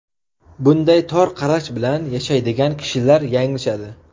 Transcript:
Bunday tor qarash bilan yashaydigan kishilar yanglishadi.